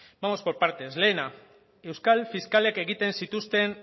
vamos por partes lehena euskal fiskalek egiten zituzten